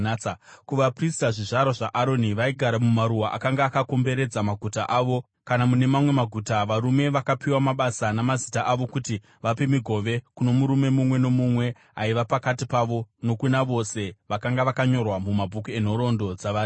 Kuvaprista, zvizvarwa zvaAroni vaigara mumaruwa akanga akakomberedza maguta avo kana mune mamwe maguta, varume vakapiwa mabasa namazita avo kuti vape migove kuno murume mumwe nomumwe aiva pakati pavo nokuna vose vakanga vakanyorwa mumabhuku enhoroondo dzavaRevhi.